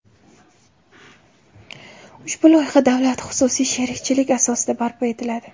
Ushbu loyiha davlat-xususiy sherikchilik asosida barpo etiladi.